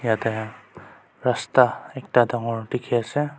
ete rasta ekta dagor dikhi ase.